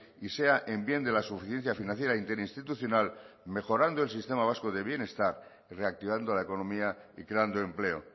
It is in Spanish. y sea en bien de la suficiencia financiera interinstitucional mejorando el sistema vasco del bienestar y reactivando la economía y creando empleo